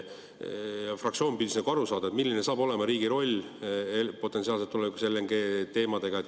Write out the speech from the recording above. Fraktsioon püüdis aru saada, milline saab potentsiaalselt olema riigi roll tulevikus LNG teemal.